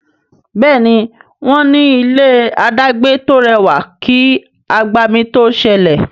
Béèni wón ní ilé adagbe to rẹwà kí agbami to sẹlẹ.